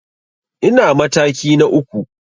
Ina mataki na uku.